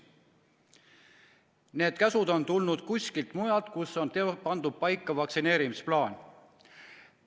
Need käsud on tulnud kuskilt mujalt, kus on paika pandud vaktsineerimisplaan.